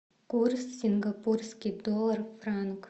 курс сингапурский доллар франк